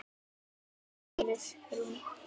Elska þig, Íris Rún.